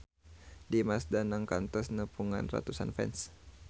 Dimas Danang kantos nepungan ratusan fans